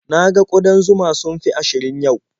Na ga ƙudan zuma sun fi ashirin yau.